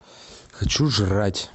хочу жрать